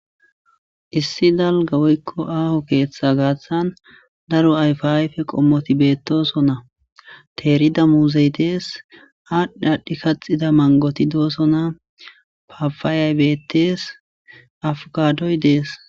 Issi dalga woyko aho ketha gatan daro ayfa ayfe qomoti betosona terida muzey dees adhi adhi kaxida mangoti dosona Papayay betes afkadoy dees.